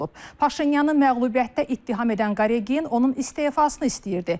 Paşinyanın məğlubiyyətdə ittiham edən Qaregin onun istefasını istəyirdi.